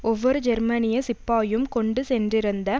ஒவ்வொரு ஜெர்மனிய சிப்பாயும் கொண்டு சென்றிருந்த